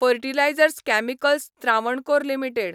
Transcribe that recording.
fertilisers chemicals Travancore limited